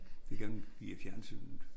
Det gengiver fjernsynet